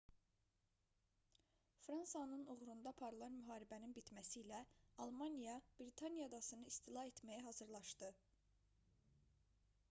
fransanın uğrunda aparılan müharibənin bitməsilə almaniya britaniya adasını istila etməyə hazırlaşdı